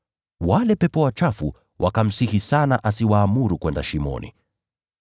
Wale pepo wachafu wakamsihi sana asiwaamuru kwenda katika Shimo.